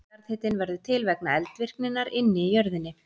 Jarðhitinn verður til vegna eldvirkninnar inni í jörðinni.